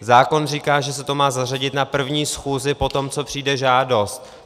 Zákon říká, že se to má zařadit na první schůzi po tom, co přijde žádost.